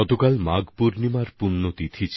কাল ছিল মাঘ পূর্ণিমার পরব